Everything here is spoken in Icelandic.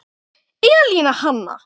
Elín Hanna.